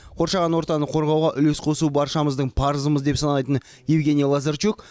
қоршаған ортаны қорғауға үлес қосу баршамыздың парызымыз деп санайтын евгений лазарчук